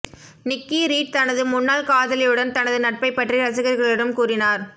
நிக்கி Reed தனது முன்னாள் காதலியுடன் தனது நட்பைப் பற்றி ரசிகர்களிடம் கூறினார்